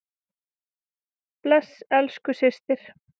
Bless elsku systir.